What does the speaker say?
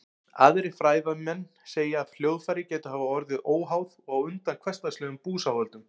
Aðrir fræðimenn segja að hljóðfæri gætu hafa orðið til óháð og á undan hversdagslegum búsáhöldum.